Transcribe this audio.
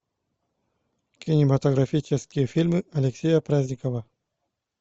кинематографические фильмы алексея праздникова